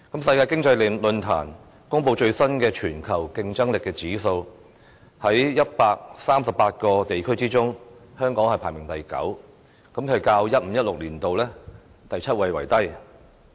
世界經濟論壇所公布最新的全球競爭力指數，在138個地區之中，香港排行第九，較 2015-2016 年度的第七位為低。